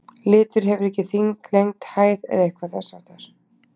Litur hefur ekki þyngd, lengd, hæð eða eitthvað þess háttar.